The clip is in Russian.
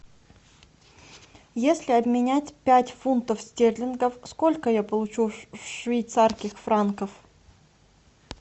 если обменять пять фунтов стерлингов сколько я получу швейцарских франков